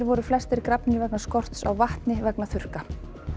voru flestir grafnir vegna skorts á vatni vegna þurrka